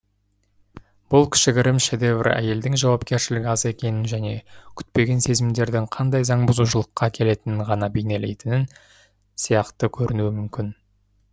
бұл кішігірім шедевр әйелдің жауапкершілігі аз екенін және күтпеген сезімдердің қандай заңбұзушылыққа әкелетінін ғана бейнелейтінін сияқты көрінуі мүмкін